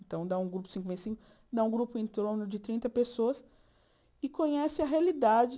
Então, dá um grupo cinco vezes cinco dá um grupo em torno de trinta pessoas que conhecem a realidade.